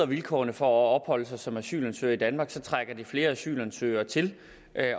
vilkårene for at opholde sig som asylansøger i danmark trækker det flere asylansøgere til